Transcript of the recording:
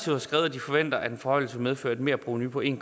har skrevet at de forventer at en forhøjelse vil medføre et merprovenu på en